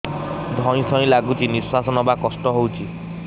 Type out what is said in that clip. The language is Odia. ଧଇଁ ସଇଁ ଲାଗୁଛି ନିଃଶ୍ୱାସ ନବା କଷ୍ଟ ହଉଚି